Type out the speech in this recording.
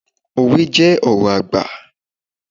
Òwe jẹ́ ọ̀rọ̀ àgbà.